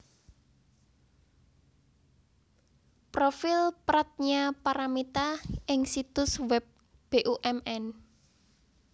Profil Pradnya Paramita ing situs web Bumn